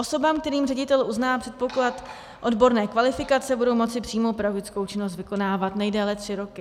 Osoby, kterým ředitel uzná předpoklad odborné kvalifikace, budou moci přímo pedagogickou činnost vykonávat nejdéle tři roky.